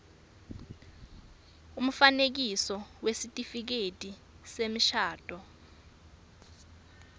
umfanekiso wesitifiketi semshado